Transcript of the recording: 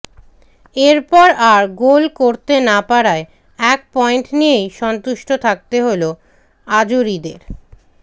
এরপর আর গোল করতে না পারায় এক পয়েন্ট নিয়েই সন্তুষ্ট থাকতে হল আজুরিদের